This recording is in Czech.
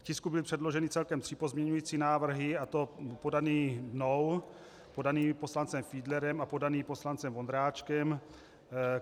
K tisku byly předloženy celkem tři pozměňující návrhy, a to podaný mnou, podaný poslancem Fiedlerem a podaný poslancem Vondráčkem.